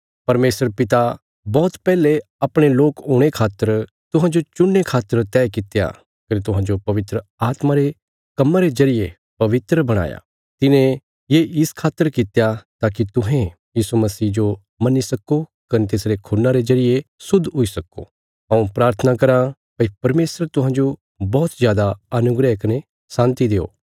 परमेशर पिता बौहत पैहले अपणे लोक हुणे खातर तुहांजो चुणने खातर तैह कित्या कने तुहांजो पवित्र आत्मा रे कम्मा रे जरिये पवित्र बणाया तिने ये इस खातर कित्या ताकि तुहें यीशु मसीह जो मन्नी सक्को कने तिसरे खून्ना रे जरिये शुद्ध हुई सक्को हऊँ प्राथना कराँ भई परमेशर तुहांजो बौहत जादा अनुग्रह कने शान्ति देओ